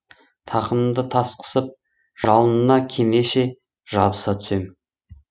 тақымымды тас қысып жалына кенеше жабыса түсем